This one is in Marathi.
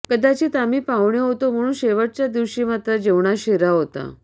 कदाचित आम्ही पाहुणे होतो म्हणून शेवटच्या दिवशी मात्र जेवणात शिरा होता